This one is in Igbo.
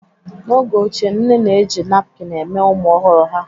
N'oge ochie, nne na-eji nakpin eme ụmụ ọhụrụ ha.